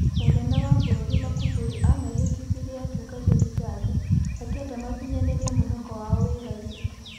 Mũnene wa bũrũri Makufuri amehĩtithirie atungatĩri Tanga, akenda makinyanĩrie mwĩhoko wao wĩraini.